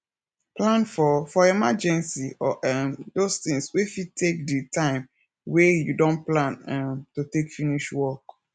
plan for for emergency or um those things wey fit take di time wey you don plan um to take finish work